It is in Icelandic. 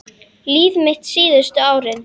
Líf mitt síðustu árin.